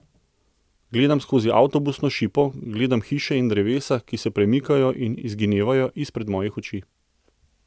Gledam skozi avtobusno šipo, gledam hiše in drevesa, ki se premikajo in izginevajo izpred mojih oči.